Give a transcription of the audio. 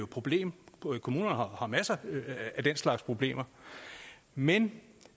problem kommunerne har har masser af den slags problemer men